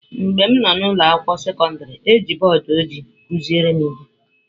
Mgbe m nọ n’ụlọ akwụkwọ sekọndrị, e ji bọọdụ ojii kụziere m ihe.